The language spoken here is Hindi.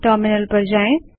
टर्मिनल पर जाएँ